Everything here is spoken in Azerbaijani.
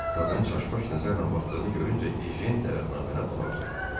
Qadının çaş-baş nəzərlə baxdığını görüncə Ejen dəvətnaməni ona uzatdı.